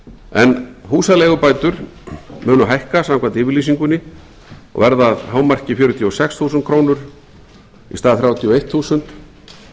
en húsaleigubætur munu hækka samkvæmt yfirlýsingunni og verða að hámark fjörutíu og sex þúsund krónur í stað þrjátíu og eitt þúsund